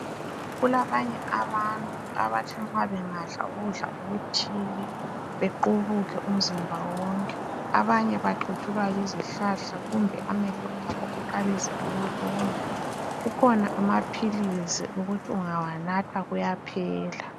Kulabanye abantu abathi nxa bengadla ukudla okuthile bequbuke umzimba wonke abanye baqutshulwa yizihlahla kumbe amehlo abo aqalise ukuluma kukhona amaphilisi okuthi ungawanatha kuyaphela.